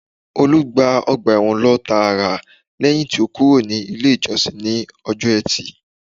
Olú gba ọgbà ẹ̀wọ̀n lọ tààrà lẹ́yìn tí ó kúrò ní ilé ìjọsìn ní ọjọ́ etí